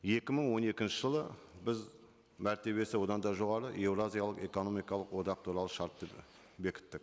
екі мың он екінші жылы біз мәртебесі одан да жоғары еуразиялық экономикалық одақ туралы шартты і бекіттік